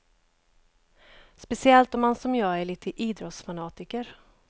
Speciellt om man som jag är lite idrottsfanatiker.